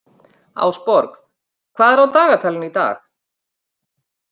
Ásborg, hvað er á dagatalinu í dag?